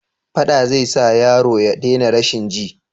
Faɗa zai sa yaro ya dena rashin ji?